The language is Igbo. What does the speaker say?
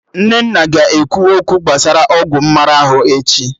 Nnenna ga-ekwu okwu gbasara ọgwụ mmara ahụ echi